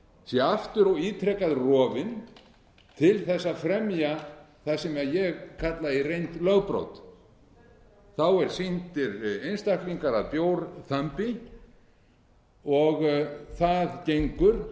sé aftur og ítrekað rofin til þess að fremja það sem ég kalla í reynd lögbrot það eru sýndir einstaklingar að bjórþambi og það gengur